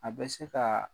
A bɛ se ka